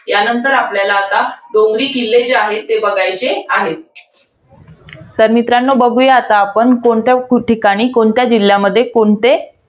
यानंतर आपल्याला आता, डोंगरी किल्ले जे आहेत, ते बघायचे आहेत. तर मित्रांनो, बघूया आता आपण कोणत्या ठिकाणी, कोणत्या जिल्ह्यामध्ये, कोणते